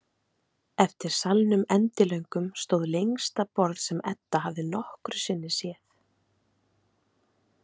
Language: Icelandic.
Eftir salnum endilöngum stóð lengsta borð sem Edda hafði nokkru sinni séð.